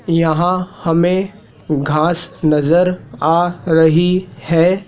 यहां हमें घास नजर आ रही है।